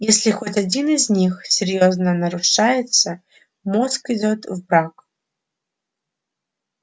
если хоть один из них серьёзно нарушается мозг идёт в брак